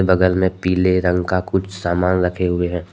बगल में पीले रंग का कुछ सामान रखे हुए हैं।